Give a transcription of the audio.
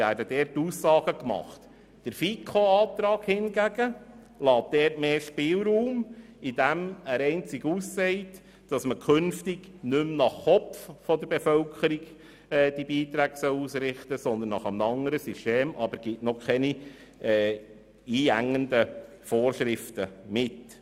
Der Antrag der FiKo dagegen lässt dort mehr Spielraum, indem er nur sagt, dass künftig die Beiträge nicht mehr pro Kopf ausgerichtet werden sollen, sondern nach einem anderen System, ohne irgendwelche einengende Vorschriften zu machen.